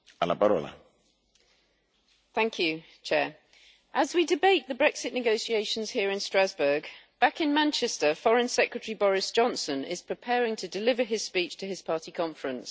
Mr President, as we debate the Brexit negotiations here in Strasbourg, back in Manchester Foreign Secretary Boris Johnson is preparing to deliver his speech to his party conference.